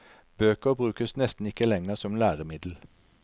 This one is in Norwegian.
Bøker brukes nesten ikke lenger som læremiddel.